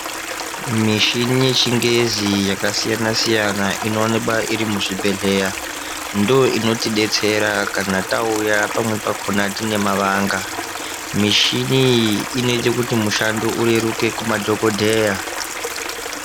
Mishini yechingezi yakasiyana siyana inowanikwa iri muzvibhehleya ndoinotidetsera kana tauya pamwe pakona tine mavanga. Mishini iyi inoita kuti mushando ureruke kuma dhokodheya.